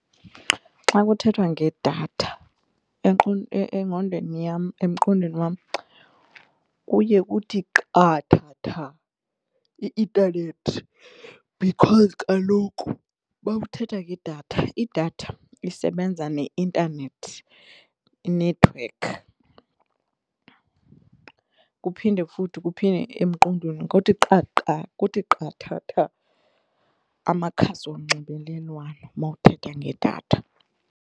Xa kuthethwa ngedatha engqondweni yam emqondweni wam kuye kuthi qathatha i-intanethi because kaloku mawuthetha ngedatha idatha isebenza neintanethi inethiwekhi kuphinde futhi kuphinde emqondweni kuthi qathatha amakhasi onxibelelwano mawuthetha ngedatha.